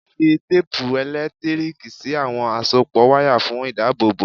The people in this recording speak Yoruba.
Fi téèpu ẹ̀lẹ́tíríìkì sí àwọn àsopọ̀ wáyà fún ìdábòbò.